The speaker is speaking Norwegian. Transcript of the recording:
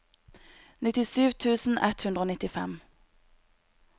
nittisju tusen ett hundre og nittifem